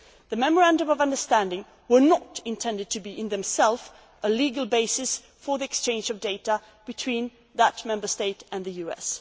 matters. The memorandum of understanding was not intended to be in itself the legal basis for the exchange of data between that Member State